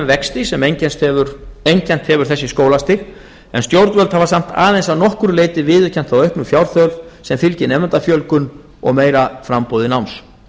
vexti sem einkennt hefur þessi skólastig en stjórnvöld hafa samt aðeins að nokkru leyti viðurkennt þá auknu fjárþörf sem fylgir nemendafjölgun og meira framboði náms